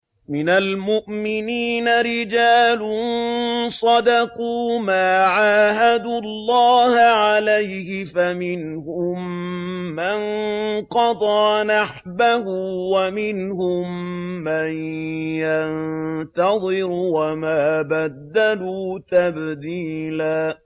مِّنَ الْمُؤْمِنِينَ رِجَالٌ صَدَقُوا مَا عَاهَدُوا اللَّهَ عَلَيْهِ ۖ فَمِنْهُم مَّن قَضَىٰ نَحْبَهُ وَمِنْهُم مَّن يَنتَظِرُ ۖ وَمَا بَدَّلُوا تَبْدِيلًا